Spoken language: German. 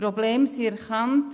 Die Probleme sind erkannt.